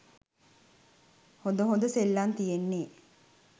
හොඳ හොඳ සෙල්ලං තියෙන්නෙ.